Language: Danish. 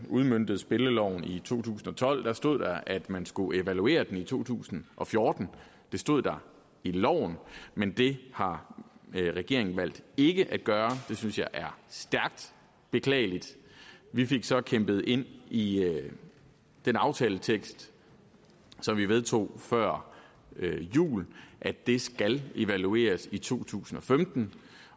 udmøntede spilleloven i to tusind og tolv stod der at man skulle evaluere den i to tusind og fjorten det stod der i loven men det har regeringen valgt ikke at gøre det synes jeg er stærkt beklageligt vi fik så kæmpet ind i den aftaletekst som vi vedtog før jul at det skal evalueres i to tusind og femten